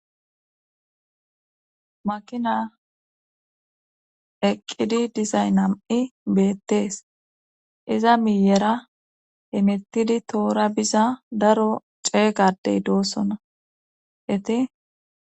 Makina eqqidi dizay nam7i beettees iza miyera imettidi toora biza daro ceegadey doossona iti